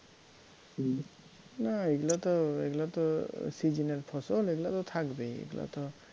না এগুলা তো এগুলা তো season এর ফসল এগুলা তো থাকবেই এগুলা তো